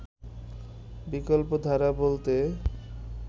বিকল্পধারা বলতে